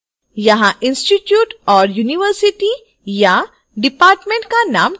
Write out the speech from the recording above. यहाँ institute/university या department का name type करें